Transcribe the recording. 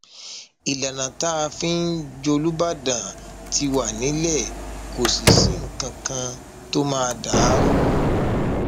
ìlànà tá a fi ń jòlúbàdán ti wà nílẹ kò sì sí nǹkan kan tó máa dà á rú